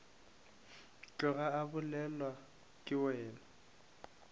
tloga a bolelwa ke wena